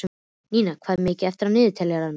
Nína, hvað er mikið eftir af niðurteljaranum?